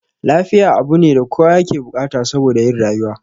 Lafiya abune da kowa yake bukata saboda yin rayuwa